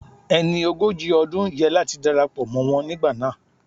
Ẹni ogójì ọdún yẹ láti darapọ̀ mọ́ wọn nígbà náà